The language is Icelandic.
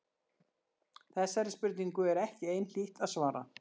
Þessari spurningu er ekki einhlítt að svara.